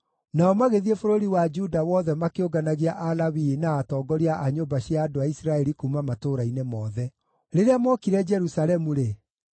Nao magĩthiĩ bũrũri wa Juda wothe makĩũnganagia Alawii na atongoria a nyũmba cia andũ a Isiraeli kuuma matũũra-inĩ mothe. Rĩrĩa mookire Jerusalemu-rĩ,